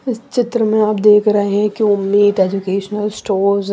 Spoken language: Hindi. इस चित्र में आप देख रहे हैं कि उम्मीद एजुकेशनल स्टोर्स --